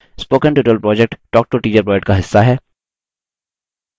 spoken tutorial project talktoateacher project का हिस्सा है